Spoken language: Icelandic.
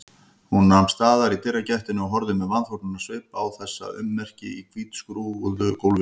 Hún nam staðar í dyragættinni og horfði með vanþóknunarsvip á þessi ummerki á hvítskúruðu gólfinu.